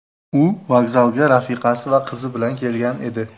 U vokzalga rafiqasi va qizi bilan kelgan edi.